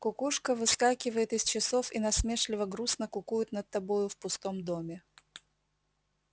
кукушка выскакивает из часов и насмешливо-грустно кукует над тобою в пустом доме